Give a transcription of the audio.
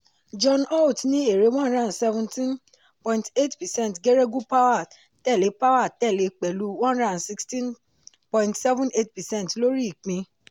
john holt ní èrè one hundred and seventeen point eight percent geregu power tẹ̀lé power tẹ̀lé pẹ̀lú one hundred and sixteen point seven eight percent lórí ìpín.